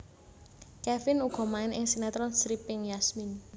Kevin uga main ing sinetron stripping Yasmin